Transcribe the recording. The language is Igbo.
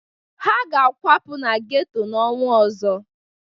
Ha ga-akwapụ na geto n'ọnwa ọzọ.